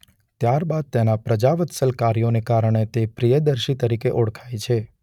ત્યારબાદ તેના પ્રજાવત્સલ કાર્યોને કારણે તે પ્રિયદર્શી તરીકે ઓળખાય છે.